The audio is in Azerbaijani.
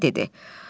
Ürəyində dedi: